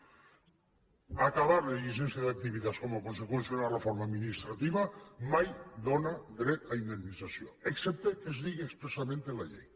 el fet d’acabar la llicència d’activitats com a conseqüència d’una reforma administrativa mai dóna dret a indemnització excepte que es digui expressament en la llei